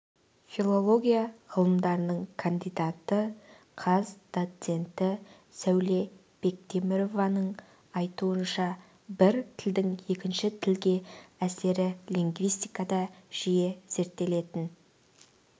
филология ғылымдарының кандидаты қаз доценті сауле бектемірованың айтуынша бір тілдің екінші тілге әсері лингвистикада жиі зерттелетін